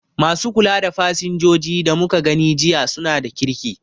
Ma su kula da fasinjoji da muka gani jiya su na da kirki